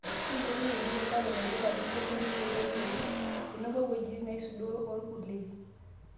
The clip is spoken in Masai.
Keyeuni enjurro sapuk naipirrta iloshon leme yioloti oleng' , tenebo owejitin naisudoro orpurkeli.